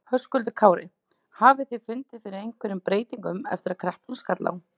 Höskuldur Kári: Hafið þið fundið fyrir einhverjum breytingum eftir að kreppan skall á?